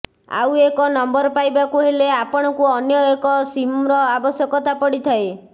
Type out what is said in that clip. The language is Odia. ଆଉ ଏକ ନମ୍ବର ପାଇବାକୁ ହେଲେ ଆପଣଙ୍କୁ ଅନ୍ୟ ଏକ ସିମର ଆବଶ୍ୟକତା ପଡିଥାଏ